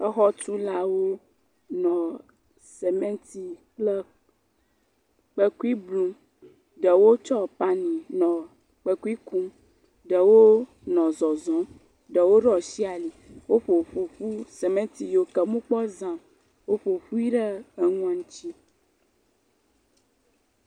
Exɔtulawo nɔ semɛnti kple kpekui blum, ɖewo tsɔ pani nɔ kpekui kum, ɖewo nɔ zɔzɔm, ɖewo ɖo asi ali, woƒo ƒu, semɛnti yike womekpɔ za o, woƒo ƒui ɖe enuɔ ŋuti.